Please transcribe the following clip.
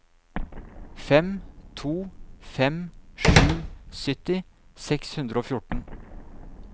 fem to fem sju sytti seks hundre og fjorten